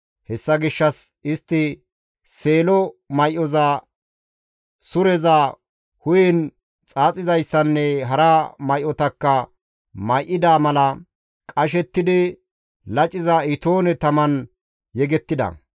Hessa gishshas istti seelo may7oza, sureza, hu7en xaaxizayssanne hara may7otakka may7ida mala qashettidi laciza itoone taman yegettida.